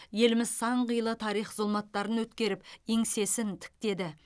еліміз сан қилы тарих зұлматтарын өткеріп еңсесін тіктеді